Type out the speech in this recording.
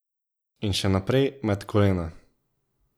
In še naprej, med kolena.